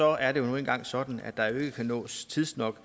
er det nu engang sådan at vi ikke tidsnok